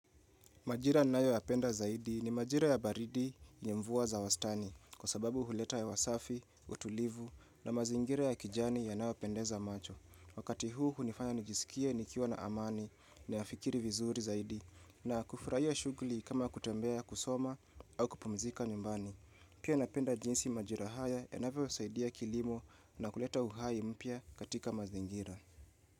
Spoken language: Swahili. Majira nayo yapenda zaidi ni majira ya baridi yenye mvua za wastani kwa sababu huleta hewa safi, utulivu na mazingira ya kijani yanayopendeza macho. Wakati huu hunifanya nijisikie nikiwa na amani na ya fikiri vizuri zaidi na kufurahia shughuli kama kutembea kusoma au kupumzika nyumbani. Pia napenda jinsi majira haya yanavyosaidia kilimo na kuleta uhai mpya katika mazingira.